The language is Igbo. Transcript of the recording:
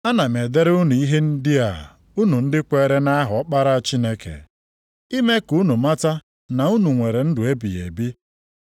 Ana m edere unu ihe ndị a unu ndị kweere nʼaha Ọkpara Chineke, ime ka unu mata na unu nwere ndụ ebighị ebi.